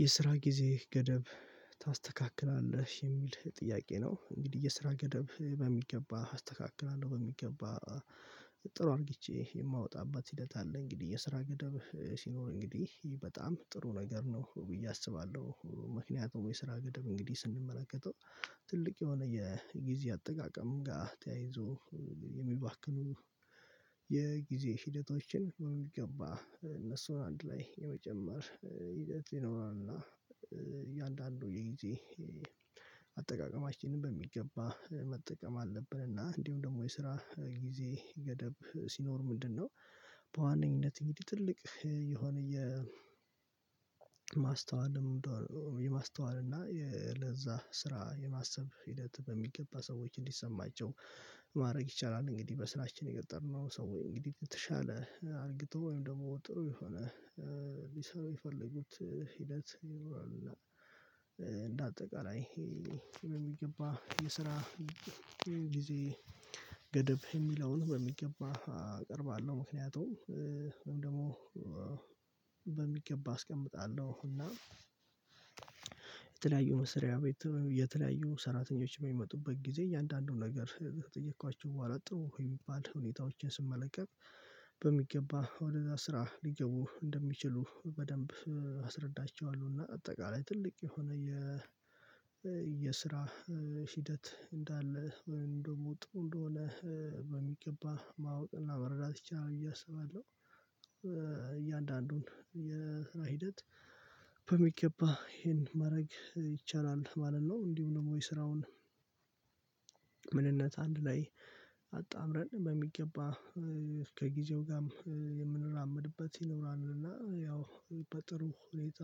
የስራ ጊዜ ገደብ ታስተካክላለህ የሚል ጥያቄ ነው? እንግዲህ የስራ ገደብ በሚገባ አስተካክላለሁ በሚገባ። ጥሩ አድርጌቼ የማወጣበት ሂደት አለ። እንግዲህ የስራ ገደብ ሲኖር እንግዲህ በጣም ጥሩ ነገር ነው ብዬ አስባለሁ። ምክንያቱም የስራ ገደብ እንግዲህ ስንመላከተው ትልቅ የሆነ የጊዜ አጠቃቀም ጋር ተያይዞ የሚባክኑ የጊዜ ሂደታችን የሚገባ እነሱን አንድ ላይ የመጨመር ሂደት ይኖረናል። እና እያንዳንዱ የጊዜ አጠቃቀማችንን በሚገባ መጠቀም አለብን። እና እንዲሁ ደግሞ የስራ ጊዜ ገደብ ሲኖር ምንድነው? በዋነኝነት እንግዲህ ትልቅ የሆነ የማስተዋል የማስተዋል እና ለዛ ስራ የማሰብ ሂደት በሚገባ ሰዎች እንዲሰማቸው ማድረግ ይቻላል። እንግዲህ በስራችን የገጠርነው ሰው ወይ እንግዲህ የተሻለ አድርጎ ወይም ደግሞ ጥሩ የሆነ ሊሰሩ የፈለጉት ሂደት ይኖራሉ። እና እንደ አጠቃላይ ይሄ የሚገባ የስራ ጊዜ ገደብ የሚለውን በሚገባ አቀርባለሁ። ምክንያቱም ወይም ደግሞ በሚገባ አስቀምጣለሁ። እና የተለያዩ መስሪያ ቤት የተለያዩ ሰራተኞች በሚመጡበት ጊዜ እያንዳንዱን ነገር ከጠየኳቸው በኋላ ጥሩ የሚባል ሁኔታዎችን ስመለከት በሚገባ ወደዛ ስራ ሊገቡ እንደሚችሉ በደንብ አስረዳቸዋለሁ። አጠቃላይ ትልቅ የሆነ የ የስራ ሂደት እንዳለ ወይም ደግሞ ጥሩ እንደሆነ በሚገባ ማወቅ እና መረዳት ይቻላል ብዬ አስባለሁ። እያንዳንዱን የስራ ሂደት በሚገባ ይሄን ማረግ ይቻላል ማለት ነው። እንዲሁ ደግሞ የስራውን ምንነት አንድ ላይ አጣምረን በሚገባ ከጊዜው ጋር የምንራመድበት ይኖራልና ያው በጥሩ ሁኔታ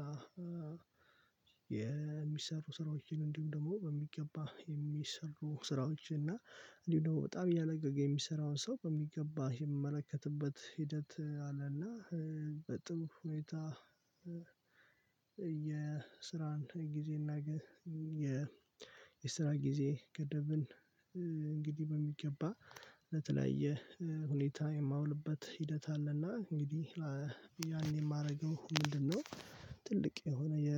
የሚሰሩ ስራዎችን እንዲሁም ደግሞ በሚገባ የሚሰሩ ስራዎች እና እንዲሁ ነው በጣም እያለገገ የሚሰራውን ሰው በሚገባ የሚመለከትበት ሂደት አለና በጥም ሁኔታ። የስራን ጊዜና የ የስራ ጊዜ ገደብን እንግዲህ በሚገባ ለተለያየ ሁኔታ የማውልበት ሂደት አለና። እንግዲህ ያኔ የማደርገው ምንድንነው? ትልቅ የሆነ የ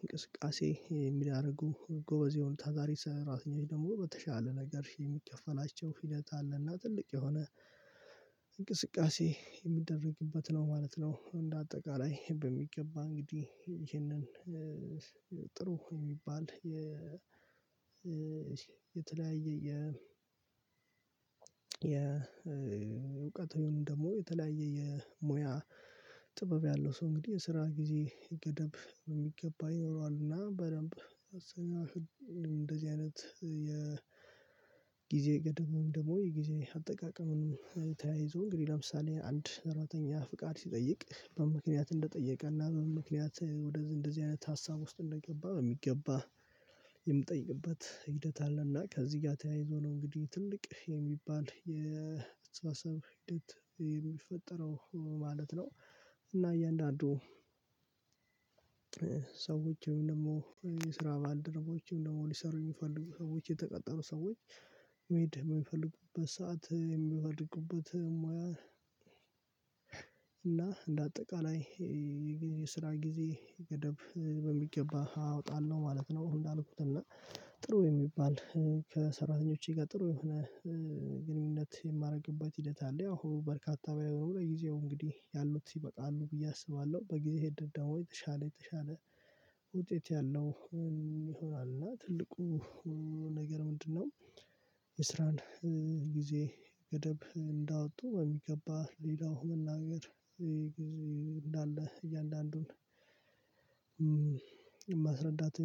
እንቅስቃሴ የሚያደርጉ ጎበዝየሆኑ ታታሪ ሰራተኞች ደግሞ በተሻለ ነገር የሚከፈላቸው ሂደት አለና ትልቅ የሆነ እንቅስቃሴ የሚደረግበት ነው ማለት ነው። እንደ አጠቃላይ በሚገባ እንግዲህ ይህንን የሚባል የተለያየ የ የእውቀት ወይም ደግሞ የተለያየ የሙያ ጥበብ ያለው ሰው እንግዲህ የስራ ጊዜ ገደብ በሚገባ ይኖረዋልና። በደንብ እንደዚህ አይነት የጊዜ ገደብ ወይም ደግሞ የጊዜ አጠቃቀሙን ተያይዞ እንግዲህ ለምሳሌ አንድ ሰራተኛ ፍቃድ ሲጠይቅ በምንምክንያት እንደጠየቀና በምንምክንያት ወደዚህ እንደዚህ አይነት ሀሳብ ውስጥ እንደገባ በሚገባ የምጠይቅበት ሂደት አለና ከዚህ ጋር ተያይዞ ነው እንግዲህ ትልቅ የሚባል የአስተሳሰብ ሂደት የሚፈጠረው ማለት ነው። እና እያንዳንዱ ሰዎችም ወይም ደግሞ የስራ ባልደረቦችም ደግሞ ሊሰሩ የሚፈልጉ ሰዎች የተቀጠሩ ሰዎች መሄድ የሚፈልጉበት ሰዓት የሚፈልጉበት ሙያ እና እንዳጠቃላይ የስራ ጊዜ ገደብ በሚገባ አወጣለሁ ማለት ነው። እንዳልኩት እና ጥሩ የሚባል ከሰራተኞቼ ጋር ጥሩ የሆነ ግንኙነት የማደርግበት ሂደት አለ። ያው በርካታ ለጊዜው እንግዲ ያሉት ይበቃሉ ብዬ አስባለሁ። በጊዜ ሂደት ደግሞ የተሻለ የተሻለ ውጤት ያለው ይሆናል። እና ትልቁ ነገር ምንድነው? የስራን ጊዜ ገደብ እንዳወጡ በሚገባ እንዳለ እያንዳንዱን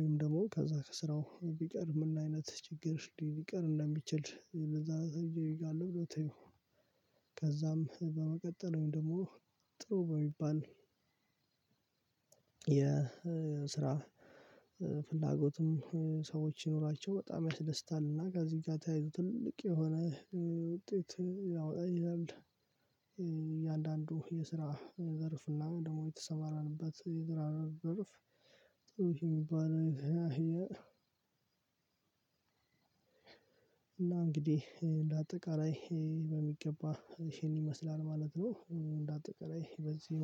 ወይም ደግሞ ከዛ ከስራው ቢቀር በምን አይነት ችግር ሊቀር እንደሚችል ለዛ ነው። ብሎ ተይው ከዛም በመቀጠልም ደግሞ ጥሩ በሚባል የስራ ፍላጎትም ሰዎች ይኖራቸው በጣም ያስደስታል። እና ከዚህ ጋር ተያይዞ ትልቅ የሆነ ውጤት ሊያወጣ ይችላል። እያንዳንዱ የስራ ዘርፍና ደግሞ የተሰማራንበት የዘራር ዘርፍ ጥሩ እና እንግዲህ እንደ አጠቃላይ በሚገባ ይሄን ይመስላል ማለት ነው። እንደ አጠቃላይ በዚህ